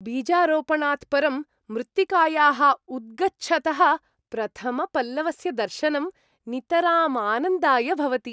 बीजारोपणात् परं मृत्तिकायाः उद्गच्छतः प्रथमपल्लवस्य दर्शनं नितराम् आनन्दाय भवति।